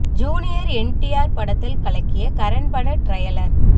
junior N T R படத்தில் கலக்கிய கரண் பட டிரையலர்